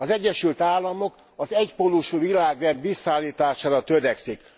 Az Egyesült Államok az egypólusú világrend visszaállítására törekszik.